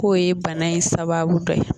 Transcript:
K'o ye bana in sababu dɔ ye